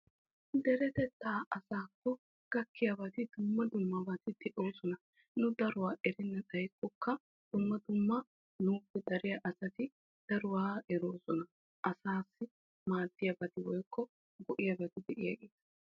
Deretetta asaakko gakiya dumma dummabatti de'osonna. Nu daruwaa erennan xayikokka nuuppe dariya asatti daruwa erosonna.